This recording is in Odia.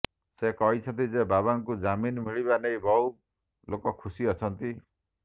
ସେ କହିଛନ୍ତି ଯେ ବବାଙ୍କୁ ଜାମିନ୍ ମିଳିବା ନେଇ ବହୁ ଲୋକ ଖୁସି ଅଛନ୍ତି